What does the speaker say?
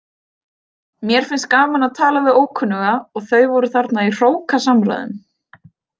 Mér finnst gaman að tala við ókunnuga og þau voru þarna í hrókasamræðum.